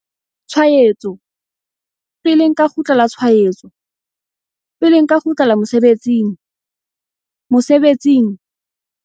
Tshwaetso, pele nka kgutlela tshwaetso, pele nka kgutlela mosebetsing?mosebetsing?